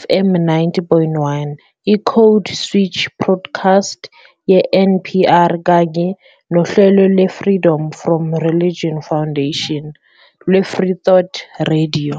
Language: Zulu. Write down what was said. FM 90.1, i "-Code Switch" podcast ye-NPR kanye nohlelo lwe- Freedom From Religion Foundation lwe- Freethought Radio.